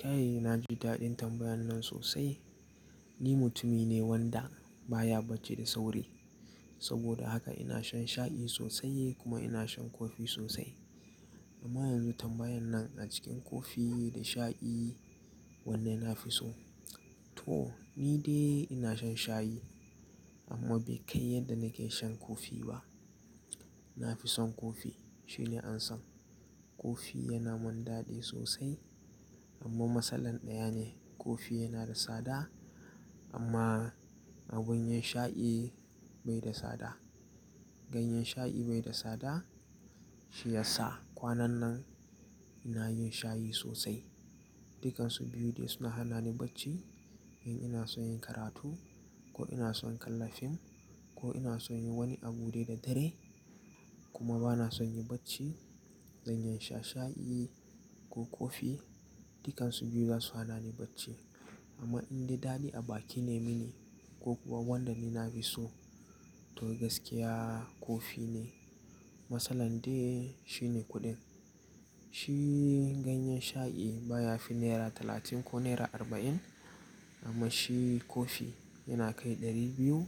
Kai, na ji daɗin tambayan nan sosai. Ni mutumi ne wanda baya bacci da sauri. Saboda haka ina shan shayi sosai kuma ina shan kofi sosai. Amma yanzu tambayan nan a cikin kofi da shayi wanne na fi so? To ni dai ina shan shayi amma bai kai yadda nake shan kofi ba. Na fi son kofi shine an san kofi yana mun daɗi sosai amma masalan ɗaya ne kofi yana da sada amma abun yin shayi bai da sada. Ganyan shayi bai da sada shi yasa kwanan nan ina yin shayi sosai. Dukansu biyu dai suna hana ni bacci in ina son yin karatu ko ina son kalla fim ko ina son yi wani abu dai da dare kuma bana son yi bacci. Zanyi sha shayi ko kofi dukansu biyu za su hana ni bacci. Amma in dai daɗi a baki ne mini ko kuwa wanda ni na fi so to gaskiya kofi ne. Matsalar dai shine kuɗin. Shi ganyan shayi baya fi naira talatin ko naira arba'in amma shi kofi yana kai ɗari biyu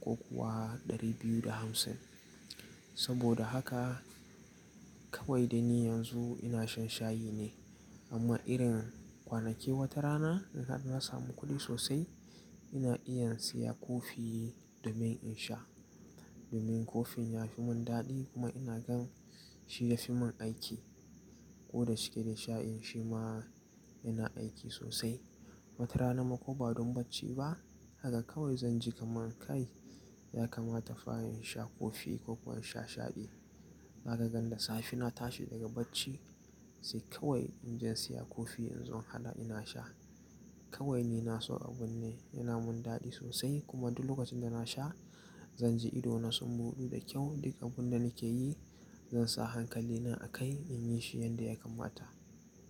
ko kuwa ɗari biyu da hamsin. Saboda haka kawai da ni yanzu ina shan shayi ne amma irin kwanake wata rana in na samu kuɗi sosai ina iya siya kofi domin in sha. Domin kofin yafi mun daɗi kuma ina gan shi yafi mun aiki koda cike da shayin shi ma yana aiki sosai. Wata rana ma ko ba don bacci ba haka kawai zan ji kaman kai ya kamata fa in sha kofi ko kuwa sha shayi. Za ka gandasafi na tashi daga bacci sai kawai in je siya kofi in zo hala ina sha. Kawai ni na so abun ne yana mun daɗi sosai kuma duk lokacin da na sha zan ji idona sun buɗu da kyau dukan abun da nake yi zan sa hankali na a kai in yi shi yanda ya kamata.